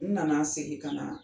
N na na segin ka na